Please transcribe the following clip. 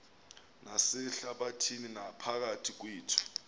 nasehlabathini naphakathi kwethu